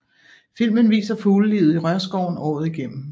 Filmen viser fuglelivet i rørskoven året igennem